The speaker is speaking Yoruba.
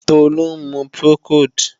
Tolú ń mu Procold